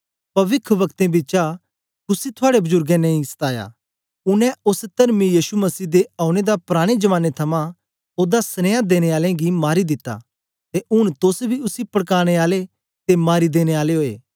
पविखवक्तें बिचा कुसी थुआड़े बजुर्गें नेई सताया उनै ओस तरमी यीशु मसही दे औने दा पराने जमाने थमां ओदा सनिया देनें आलें गी मारी दिता ते ऊन तोस बी उसी पड़कानें आले ते मारी देने आले ओए